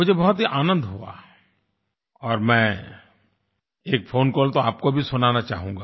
मुझे बहुत ही आनंद हुआ और मैं एक फ़ोन कॉल तो आपको भी सुनाना चाहूँगा